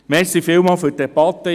Vielen Dank für die Debatte.